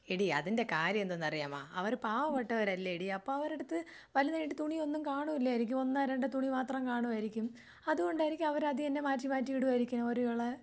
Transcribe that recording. എടി അതിന്റെ കാര്യം എന്തെന്നറിയാമോ? അവര് പാവപ്പെട്ടവരല്ലേഡി അപ്പൊ അവരെടുത്ത് വലുതായിട്ട് തുണിയൊന്നും കാണൂലായിരിക്കും ഒന്നോ രണ്ടോ തുണി മാത്രം കാണുമായിരിക്കും. അതുകൊണ്ടായിരിക്കും അവര് അതുതന്നെ മാറ്റിമാറ്റി ഇടുവായിരിക്കും. ഒരു കള.